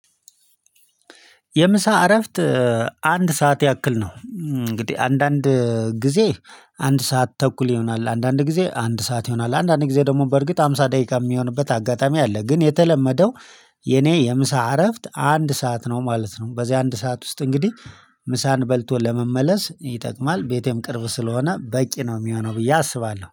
የምሳ እረፍት አንድ ሰዓት ያክል ነው። እንግዲህ አንዳንድ ጊዜ አንድ ሰዓት ተኩል ይሆናል አንዳንድ ጊዜ አንድ ሰዓት ይሆናል አንዳንድ ጊዜ ደግሞ በእርግጥ ሃምሳ ደቂቃ የሚሆንበት አጋጣሚ አለ። ግን የተለመደው የኔ የምሳ እረፍት አንድ ሰዓት ነው ማለት ነው። በዚህ አንድ ሰዓት ውስጥ እንግዲህ ምሳን በልቶ ለመመለስ ይጠቅማል ቤቴም ቅርብ ስለሆነ በቂ ነው የሚሆነው ብዬ አስባለሁ